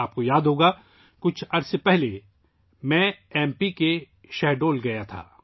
آپ کو یاد ہوگا، کچھ وقت پہلے، میں ایم پی کے شاہڈول گیا تھا